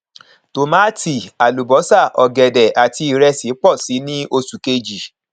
tòmátì àlùbósà ògèdè àti ìrẹsì pọ síi ní oṣù kejì